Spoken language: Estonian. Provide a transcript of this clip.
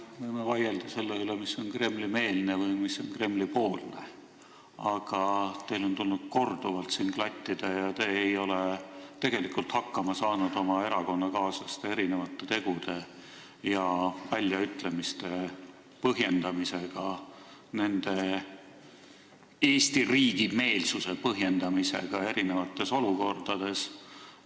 Me võime vaielda selle üle, mis on Kremli-meelne või mis on Kremli-poolne, aga teil on tulnud siin korduvalt klattida oma erakonnakaaslaste tegusid ja väljaütlemisi ning te ei ole tegelikult sellega hakkama saanud, te ei ole saanud hakkama nende Eesti riigi meelsuse põhjendamisega eri olukordades.